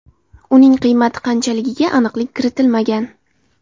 Uning qiymati qanchaligiga aniqlik kiritilmagan.